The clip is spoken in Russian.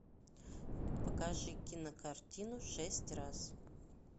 покажи кинокартину шесть раз